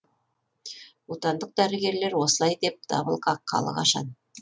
отандық дәрігерлер осылай деп дабыл қаққалы қашан